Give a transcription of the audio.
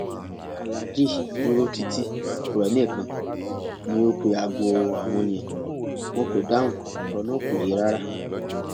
aláàjì dúró títí kò rẹnìkan ni o pé aago àwọn yẹn wọn kò dáhùn ọrọ náà kò yé e rárá